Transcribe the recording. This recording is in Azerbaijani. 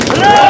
Rusiya!